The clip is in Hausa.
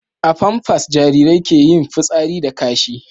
a pampas Jarirai ke yin fitsari da kashi